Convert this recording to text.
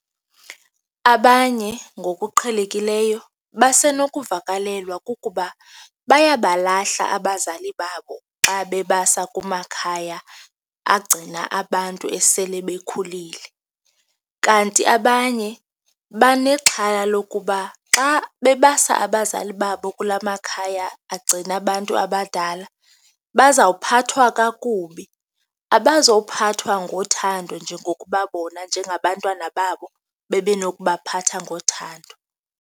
Abanye ngokuqhelekileyo basenokuvakalelwa kukuba bayabalahla abazali babo xa bebasa kumakhaya agcina abantu esele bekhulile. Kanti abanye banexhala lokuba xa bebasa abazali babo kulaa makhaya agcina abantu abadala, bazawuphathwa kakubi, abazokuphathwa ngothando njengokuba bona njengabantwana babo bebenokubaphatha ngothando.